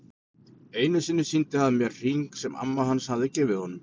Einu sinni sýndi hann mér hring sem amma hans hafði gefið honum.